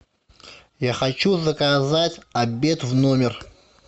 я хочу заказать обед в номер